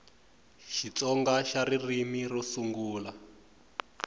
xitsonga xa ririmi ro sungula